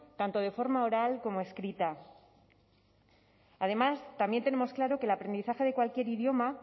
tanto de forma oral como escrita además también tenemos claro que